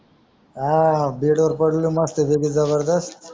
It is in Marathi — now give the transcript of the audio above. हा बेड वर पडलो मस्त पैकी जबरदस्त